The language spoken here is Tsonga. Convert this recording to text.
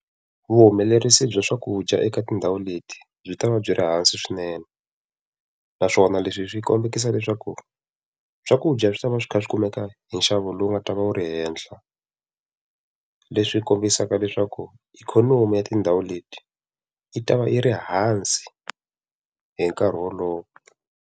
Vuhumelerisi bya swakudya eka tindhawu leti, byi ta va byi ri hansi swinene. Naswona leswi swi kombekisa leswaku swakudya swi ta va swi kha swi kumeka hi nxavo lowu nga ta va wu ri henhla. Leswi kombisaka leswaku ikhonomi ya tindhawu leti, i ta va yi ri hansi hi nkarhi wolowo.